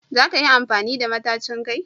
Za ka yi amfani da matacin kai?